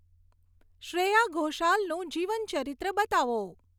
શ્રેયા ઘોષાલનું જીવનચરિત્ર બતાવો